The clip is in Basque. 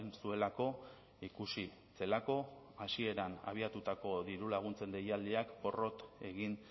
zuelako ikusi zelako hasieran abiatutako diru laguntzen deialdiek porrot egin